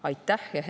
Aitäh!